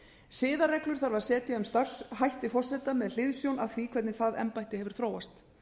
siðareglur þarf að setja um starfshætti forseta með hliðsjón af því hvernig það embætti hefur þróast